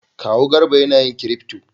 Kawu Garba na yin kirifto